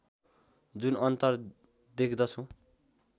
जुन अन्तर देख्दछौँ